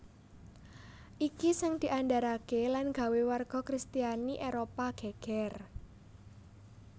Iki sing diandharake lan gawé warga kristiani Éropah geger